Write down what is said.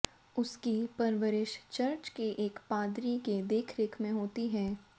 उसकी परवरिश चर्च के एक पादरी की देखरेख में होती है